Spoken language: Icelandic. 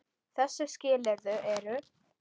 Þessi skilyrði eru: